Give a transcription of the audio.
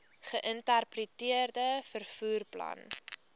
geïntegreerde vervoer plan